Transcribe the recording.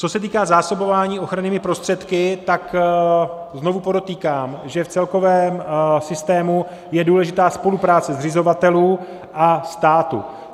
Co se týká zásobování ochrannými prostředky, tak znovu podotýkám, že v celkovém systému je důležitá spolupráce zřizovatelů a státu.